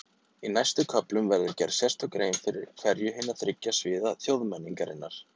Í næstu köflum verður gerð sérstök grein fyrir hverju hinna þriggja sviða þjóðmenningarinnar.